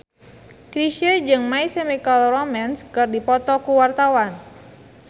Chrisye jeung My Chemical Romance keur dipoto ku wartawan